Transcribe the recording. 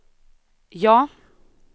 ja